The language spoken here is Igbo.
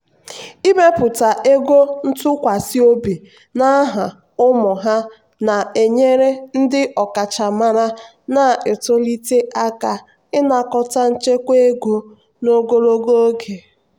ịmepụta ego ntụkwasị obi n'aha ụmụ ha na-enyere ndị ọkachamara na-etolite aka ịnakọta nchekwa ego n'ogologo oge.